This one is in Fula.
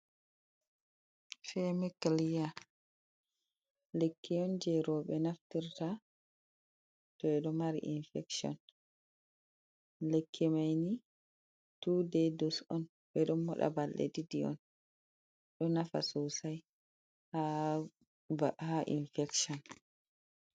Femikliya lekkiyon je robe naftirta to do mari infection, lekki mani 2days dose on bedo moda balle diddi on do nafa sosai ha infection.